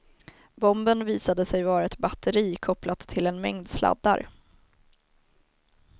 Bomben visade sig vara ett batteri kopplat till en mängd sladdar.